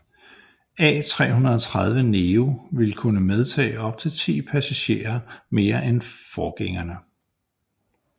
A330neo vil kunne medtage op til 10 passagerer mere end forgængerne